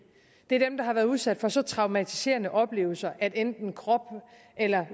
det er dem der har været udsat for så traumatiserende oplevelse at enten krop eller